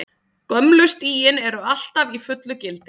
Gömlu stigin eru alltaf í fullu gildi.